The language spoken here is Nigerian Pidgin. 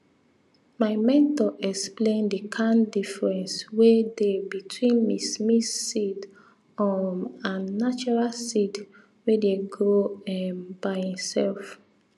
my mentor explain the kain difference wey dey between mixmix seed um and natural seed wey dey grow um by himself